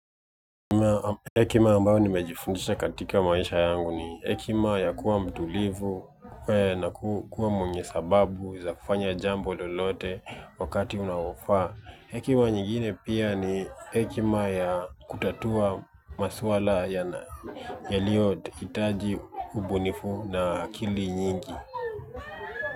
Hekima ambayo nimejifundisha katika maisha yangu ni hekima ya kuwa mtulivu na kuwa mwenye sababu za kufanya jambo lolote wakati unaofaa. Ikiwa nyingine pia ni hekima ya kutatua maswala yalio hitaji ubunifu na akili nyingi.